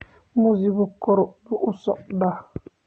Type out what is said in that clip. Muusiggu kor buu u socdaa